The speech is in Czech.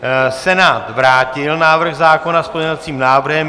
Senát vrátil návrh zákona s pozměňovacím návrhem.